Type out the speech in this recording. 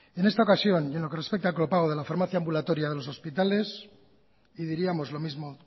en esta ocasión y a en lo que respecta al copago de la farmacia ambulatoria de los hospitales y diríamos lo mismo